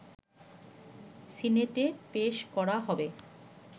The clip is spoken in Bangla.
সিনেটে পেশ করা হবে